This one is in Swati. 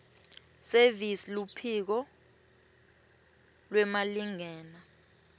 service luphiko lwemalingena